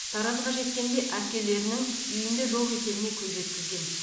таразға жеткенде әпкелерінің үйінде жоқ екеніне көз жеткізген